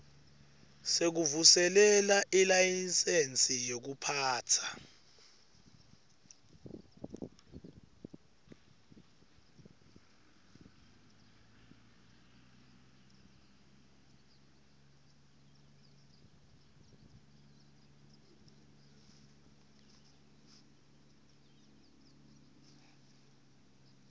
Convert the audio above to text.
sekuvuselela ilayisensi yekuphatsa